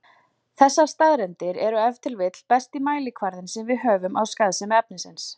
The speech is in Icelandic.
Þessar staðreyndir eru ef til vill besti mælikvarðinn sem við höfum á skaðsemi efnisins.